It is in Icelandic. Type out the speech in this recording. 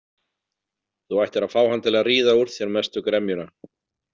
Þú ættir að fá hann til að ríða úr þér mestu gremjuna.